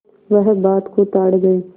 वह बात को ताड़ गये